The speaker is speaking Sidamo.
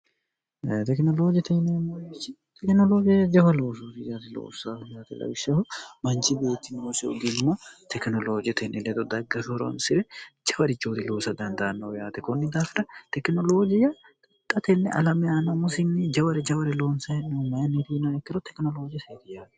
tekinoloojiyya jawaloosori yati loofsyte lawishshaho manchi beettinoosi ugimma tekinoloojetenni ledo daggashhoronsi're jawari coori luosa dandaannou yaate kunni daafira tekinoloojiyya ixxatenne alami yaana musinni jawari jaware loonse'nomayinniriino ikkiro tekinolooji seeriyaari